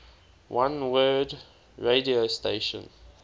oneword radio station